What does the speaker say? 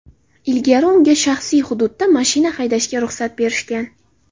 Ilgari, unga shaxsiy hududda mashina haydashga ruxsat berishgan.